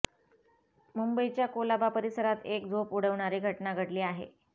मुंबईच्या कोलाबा परिसरात एक झोप उडवणारी घडना घडली आहे